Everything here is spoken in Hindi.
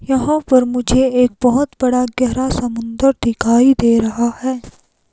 यहाँ पर मुझे एक बहुत बड़ा गहरा समुद्र दिखाई दे रहा है।